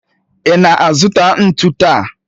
Ị na-azụta ntu taa?